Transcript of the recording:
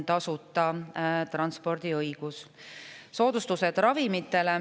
Ravimite soodustused.